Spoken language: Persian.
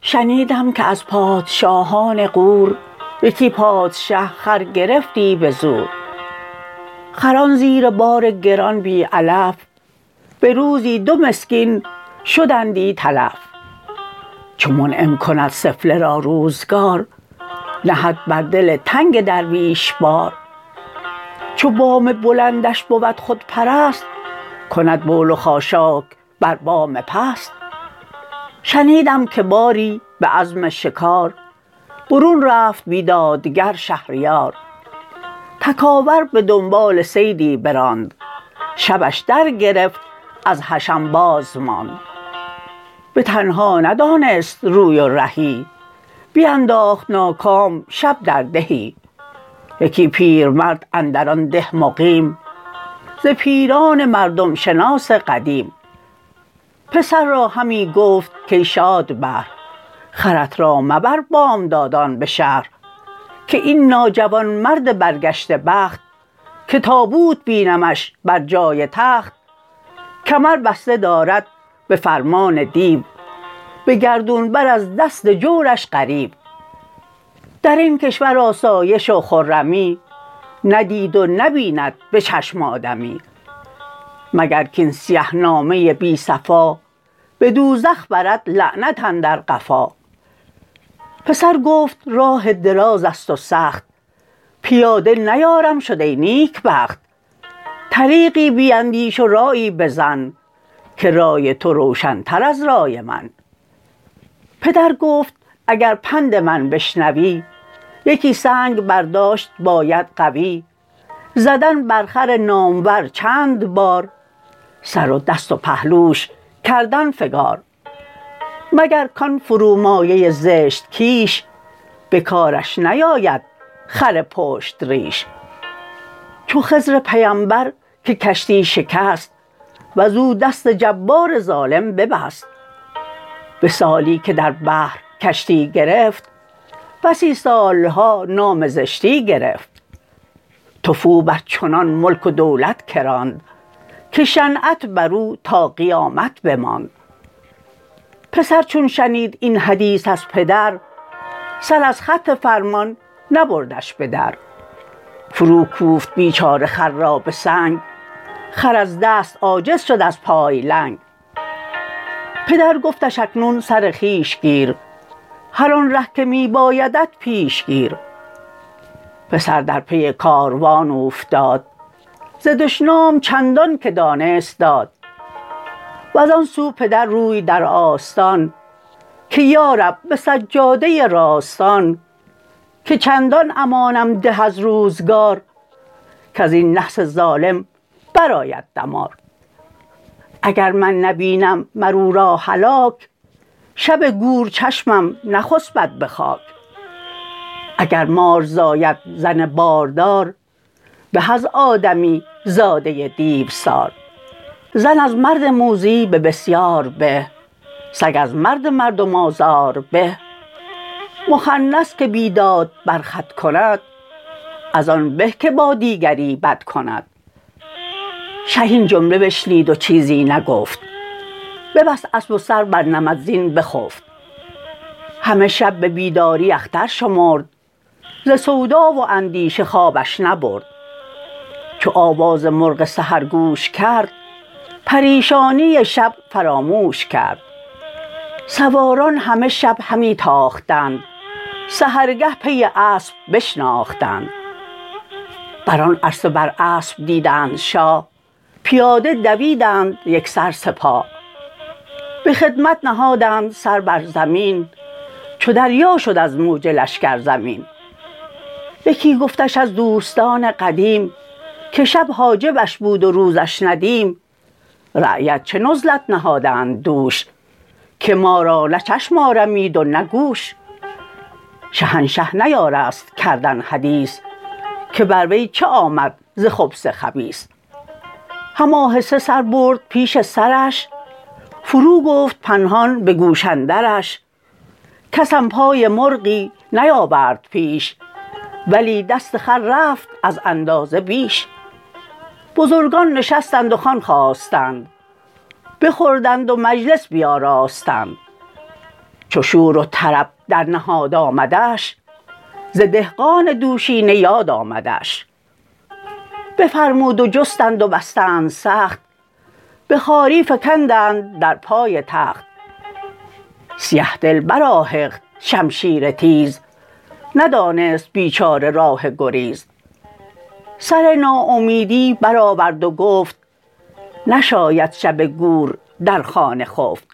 شنیدم که از پادشاهان غور یکی پادشه خر گرفتی به زور خران زیر بار گران بی علف به روزی دو مسکین شدندی تلف چو منعم کند سفله را روزگار نهد بر دل تنگ درویش بار چو بام بلندش بود خودپرست کند بول و خاشاک بر بام پست شنیدم که باری به عزم شکار برون رفت بیدادگر شهریار تکاور به دنبال صیدی براند شبش در گرفت از حشم باز ماند به تنها ندانست روی و رهی بینداخت ناکام شب در دهی یکی پیرمرد اندر آن ده مقیم ز پیران مردم شناس قدیم پسر را همی گفت کای شادبهر خرت را مبر بامدادان به شهر که این ناجوانمرد برگشته بخت که تابوت بینمش بر جای تخت کمر بسته دارد به فرمان دیو به گردون بر از دست جورش غریو در این کشور آسایش و خرمی ندید و نبیند به چشم آدمی مگر کاین سیه نامه بی صفا به دوزخ برد لعنت اندر قفا پسر گفت راه دراز است و سخت پیاده نیارم شد ای نیکبخت طریقی بیندیش و رایی بزن که رای تو روشن تر از رای من پدر گفت اگر پند من بشنوی یکی سنگ برداشت باید قوی زدن بر خر نامور چند بار سر و دست و پهلوش کردن فگار مگر کان فرومایه زشت کیش به کارش نیاید خر پشت ریش چو خضر پیمبر که کشتی شکست وز او دست جبار ظالم ببست به سالی که در بحر کشتی گرفت بسی سالها نام زشتی گرفت تفو بر چنان ملک و دولت که راند که شنعت بر او تا قیامت بماند پسر چون شنید این حدیث از پدر سر از خط فرمان نبردش به در فرو کوفت بیچاره خر را به سنگ خر از دست عاجز شد از پای لنگ پدر گفتش اکنون سر خویش گیر هر آن ره که می بایدت پیش گیر پسر در پی کاروان اوفتاد ز دشنام چندان که دانست داد وز آن سو پدر روی در آستان که یارب به سجاده راستان که چندان امانم ده از روزگار کز این نحس ظالم بر آید دمار اگر من نبینم مر او را هلاک شب گور چشمم نخسبد به خاک اگر مار زاید زن باردار به از آدمی زاده دیوسار زن از مرد موذی به بسیار به سگ از مردم مردم آزار به مخنث که بیداد بر خود کند از آن به که با دیگری بد کند شه این جمله بشنید و چیزی نگفت ببست اسب و سر بر نمد زین بخفت همه شب به بیداری اختر شمرد ز سودا و اندیشه خوابش نبرد چو آواز مرغ سحر گوش کرد پریشانی شب فراموش کرد سواران همه شب همی تاختند سحرگه پی اسب بشناختند بر آن عرصه بر اسب دیدند شاه پیاده دویدند یکسر سپاه به خدمت نهادند سر بر زمین چو دریا شد از موج لشکر زمین یکی گفتش از دوستان قدیم که شب حاجبش بود و روزش ندیم رعیت چه نزلت نهادند دوش که ما را نه چشم آرمید و نه گوش شهنشه نیارست کردن حدیث که بر وی چه آمد ز خبث خبیث هم آهسته سر برد پیش سرش فرو گفت پنهان به گوش اندرش کسم پای مرغی نیاورد پیش ولی دست خر رفت از اندازه بیش بزرگان نشستند و خوان خواستند بخوردند و مجلس بیاراستند چو شور و طرب در نهاد آمدش ز دهقان دوشینه یاد آمدش بفرمود و جستند و بستند سخت به خواری فکندند در پای تخت سیه دل برآهخت شمشیر تیز ندانست بیچاره راه گریز سر ناامیدی برآورد و گفت نشاید شب گور در خانه خفت